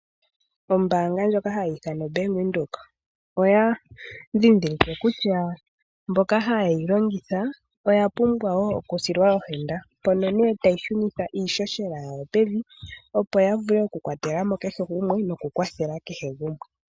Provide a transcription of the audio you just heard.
Ombaanga ndjoka hayi ithanwa (Bank Windhoek), oya ndhindhilike kutya mboka haye yi longitha, oya pumbwa wo okusilwa ohenda. Mpoka ne tayi shunitha iihohela yawo pevi, opo ya vule okukwatela mo kehe gumwe nokukwathela kehe gumwe.